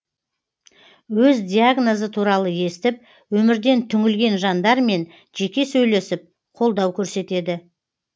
өз диагнозы туралы естіп өмірден түңілген жандармен жеке сөйлесіп қолдау көрсетеді